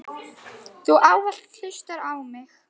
Þú ávallt hlustar á mig.